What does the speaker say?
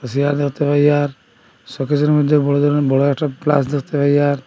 সেয়ার দেখতে পাই আর শোকেসের মধ্যে বড় ধরন বড় একটা প্লাস দেখতে পাই আর।